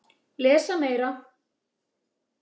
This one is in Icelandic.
Lesa meira